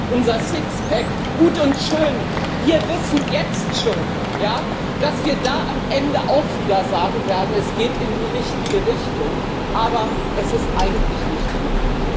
Unser Sixpack gut und schön, wir wissen jetzt schon, dass wir da am Ende auch wieder sagen werden Es geht in die richtige Richtung, aber es ist eigentlich nicht genug.